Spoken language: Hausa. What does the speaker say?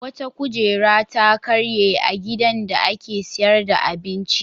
Wata kujera ta karye a gidan da ake sayar da abinci.